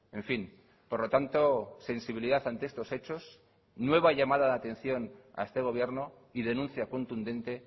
en fin por lo tanto sensibilidad ante estos hechos nueva llamada de atención a este gobierno y denuncia contundente